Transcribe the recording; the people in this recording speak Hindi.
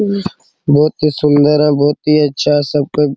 बहोत ही सुंदर है बहोत ही अच्छा सबके --